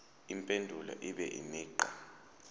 impendulo ibe imigqa